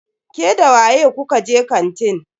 Ke da waye kuka je kantin?